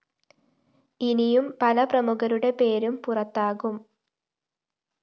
ഇനിയും പല പ്രമുഖരുടെ പേരും പുറത്താകും